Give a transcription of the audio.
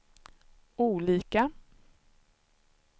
olika